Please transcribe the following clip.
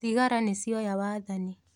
Thigari nĩcioya wathani.